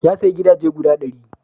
Ya sayi gidaje guda ɗari.